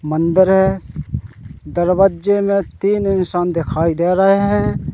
मंदिर हैं दरवजे में तीन इंसान दिखाई दे रहे हैं।